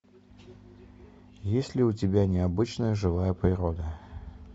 есть ли у тебя необычная живая природа